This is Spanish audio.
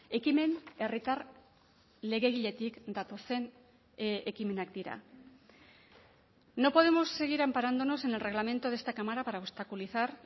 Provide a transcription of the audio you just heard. ekimen herritar legegiletik datozen ekimenak dira no podemos seguir amparándonos en el reglamento de esta cámara para obstaculizar